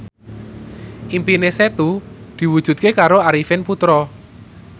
impine Setu diwujudke karo Arifin Putra